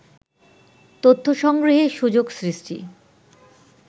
তথ্য সংগ্রহে সুযোগ সৃষ্টি